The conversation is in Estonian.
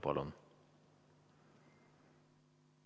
Palun!